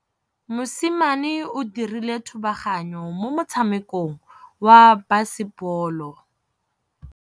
Mosimane o dirile thubaganyô mo motshamekong wa basebôlô.